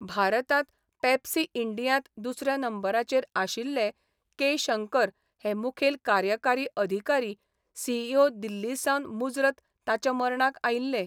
भारतांत पेप्सी इंडियांत दुसऱ्या नंबराचेर आशिल्ले के शंकर हे मुखेल कार्यकारी अधिकारी सीईओ दिल्लीसावन मुजरत ताच्या मर्णाक आयिल्ले.